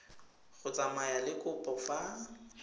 go tsamaya le kopo fa